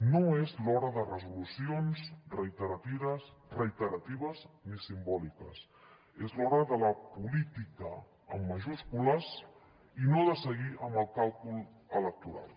no és l’hora de resolucions reiteratives ni simbòliques és l’hora de la política amb majúscules i no de seguir amb el càlcul electoral